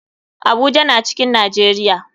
Abuja na cikin nijeria.